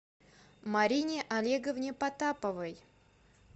марине олеговне потаповой